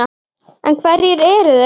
En hverjir eru þeir?